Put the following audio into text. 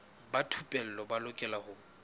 ba thupelo ba lokela ho